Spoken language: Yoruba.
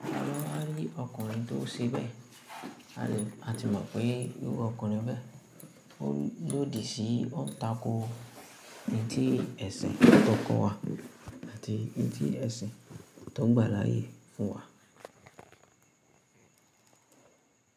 Tí a bá rí ọkùnrin tó ṣe bẹ́ẹ̀, a ti mọ̀ pé eru ọkùnrin bẹ́ẹ̀ ó lòdì sí i, ó ń tako n tì ẹ̀sìn tó ko wà àti n tì ẹ̀sìn tó gbàláyè fún wa.